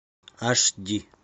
аш ди